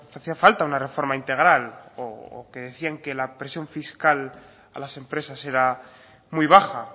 hacía falta una reforma integral o que decía que la presión fiscal a las empresas era muy baja